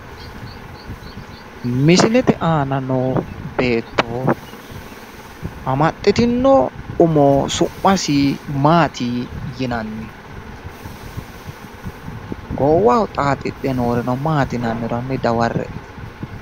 Misilete aana noo beetto amaxitino umo su'masi Maati yinanni? Godowaho xaaxidhe nooreno Maati yinanniro hanni dawarre''e.